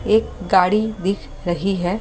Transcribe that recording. एक गाड़ी दिख रही है।